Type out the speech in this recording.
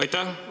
Aitäh!